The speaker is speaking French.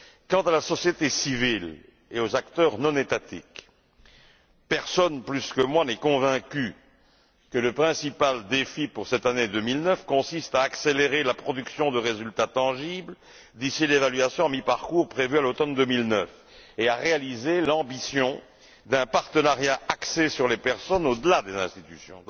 Quant à la société civile et aux acteurs non étatiques, personne plus que moi n'est convaincu que le principal défi pour cette année 2009 consiste à accélérer la production de résultats tangibles d'ici l'évaluation à mi parcours prévue à l'automne 2009, et à réaliser l'ambition d'un partenariat axé sur les personnes au delà des institutions.